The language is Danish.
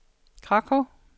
Krakow